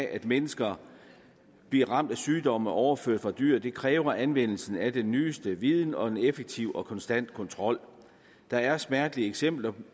at mennesker bliver ramt af sygdomme overført fra dyr dyr kræver anvendelse af den nyeste viden og en effektiv og konstant kontrol der er smertelige eksempler